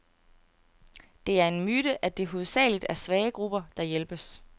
Det er en myte, at det hovedsageligt er svage grupper, der hjælpes.